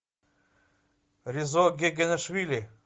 резо гигинеишвили